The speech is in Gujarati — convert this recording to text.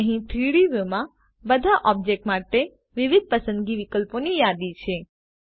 અહીં 3ડી વ્યુમાં બધા ઓબ્જેક્ટો માટે વિવિધ પસંદગી વિકલ્પોની યાદી છે